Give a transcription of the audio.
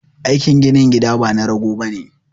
Aikin ginin gida bana rago bane